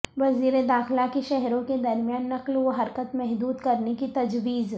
وزیر داخلہ کی شہروں کے درمیان نقل و حرکت محدود کرنے کی تجویز